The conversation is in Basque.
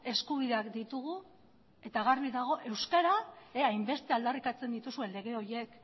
eskubideak ditugu eta garbi dago euskara hainbeste aldarrikatzen dituzuen lege horiek